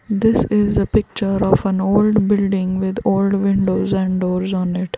This is a picture of an old buliding with all windows and doors on it.